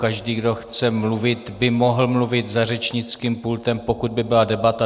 Každý, kdo chce mluvit, by mohl mluvit za řečnickým pultem, pokud by byla debata.